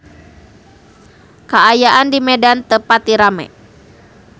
Kaayaan di Medan teu pati rame